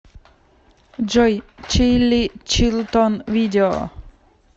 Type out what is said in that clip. джой чилли чилтон видео